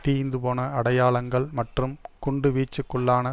தீய்ந்து போன அடையாளங்கள் மற்றும் குண்டுவீச்சுக்குள்ளான